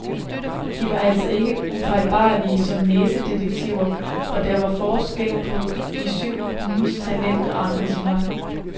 De var altså ikke ufejlbarlige som næsedetektiver, og der var forskel på de syv hundes talent og engagement.